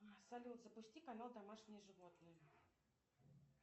салют запусти канал домашние животные